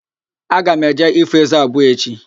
Aga m eje ifo ézé abụọ echi